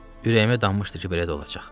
Ürəyimə dammışdı ki, belə də olacaq.